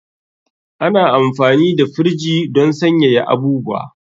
Ana amfani da firiji don sanyaya abubuwa.